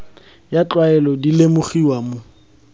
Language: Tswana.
ya tlwaelo di lemogiwa mo